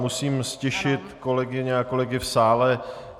Musím ztišit kolegyně a kolegy v sále.